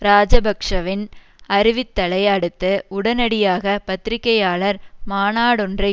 இராஜபக்ஷவின் அறிவித்தலை அடுத்து உடனடியாக பத்திரிகையாளர் மாநாடொன்றை